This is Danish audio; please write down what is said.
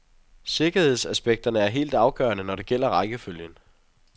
Sikkerhedsaspekterne er helt afgørende, når det gælder rækkefølgen.